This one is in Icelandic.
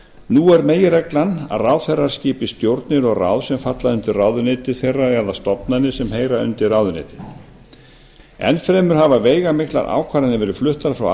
nú er meginreglan að ráðherrar skipa stjórnir og ráð sem falla undir ráðuneyti þeirra eða stofnanir sem heyra undir ráðuneytið enn fremur hafa veigamiklar ákvarðanir verið fluttar frá